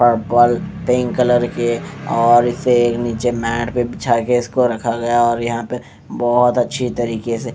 pink colour के और इसे नीचे मैट पर बिछा कर इसको रखा गया और यहाँ पर इसे बहोत अच्छी तरीके से--